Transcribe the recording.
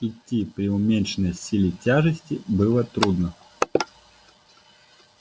идти при уменьшенной силе тяжести было трудно